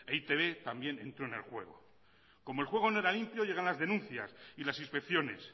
e i te be también entró en el juego como el juego no era limpio llegan las denuncias y las inspecciones